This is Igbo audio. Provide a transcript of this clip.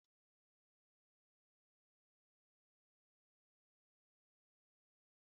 Sịtịụ dị ka Ofe Akwu na Egusi na-agbakwunye ụtọ ụtọ na nri.